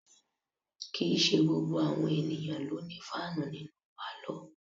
Kì í ṣe gbogbo àwọn ènìyàn ló ní fáànù nínú pálọ̀